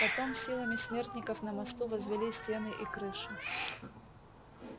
потом силами смертников на мосту возвели стены и крышу